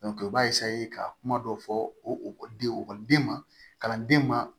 i b'a ka kuma dɔ fɔ okɔliden ekɔliden ma kalanden ma